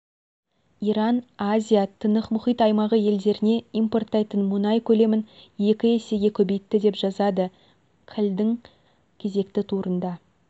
иран азия-тынық мұхит аймағы елдеріне экспорттайтын мұнай көлемін екі есеге көбейтті деп жазады қіл-дың кезекті турында